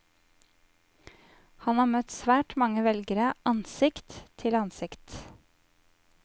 Han har møtt svært mange velgere ansikt til ansikt.